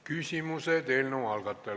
Küsimused eelnõu algatajale.